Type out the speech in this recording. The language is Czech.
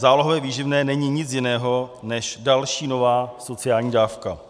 Zálohové výživné není nic jiného než další, nová sociální dávka.